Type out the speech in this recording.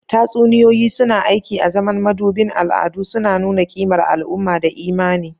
Tatsuniyoyi suna aiki azaman madubin al'adu, suna nuna kimar al'umma da imani.